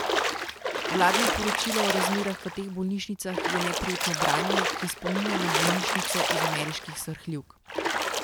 Vladno poročilo o razmerah v teh bolnišnicah je neprijetno branje, ki spominja na bolnišnice iz ameriških srhljivk.